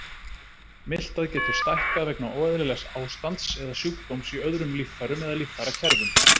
Miltað getur stækkað vegna óeðlilegs ástands eða sjúkdóms í öðrum líffærum eða líffærakerfum.